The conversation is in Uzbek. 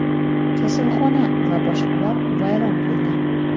kasalxona va boshqalar vayron qilingan.